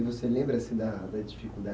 E você lembra assim da da